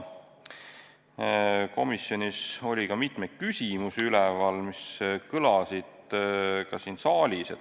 Komisjonis tekkis mitmeid küsimusi, mis kõlasid ka siin saalis.